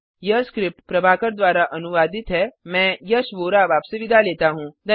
यह स्क्रिप्ट प्रभाकर द्वारा अनुवादित है मैं यश वोरा अब आपसे विदा लेता हूँ